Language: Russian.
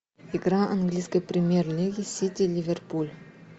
игра английской премьер лиги сити ливерпуль